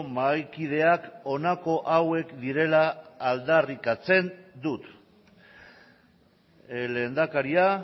mahaikideak honako hauek direla aldarrikatzen dut lehendakaria